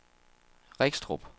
Regstrup